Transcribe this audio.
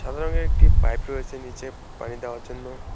সাদা রঙের একটি পাইপ রয়েছে নিচে পানি দেওয়ার জন্য।